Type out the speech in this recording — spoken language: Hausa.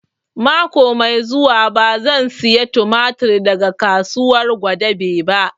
Mako mai zuwa ba zan saya tumatir daga kasuwar Gwadabe ba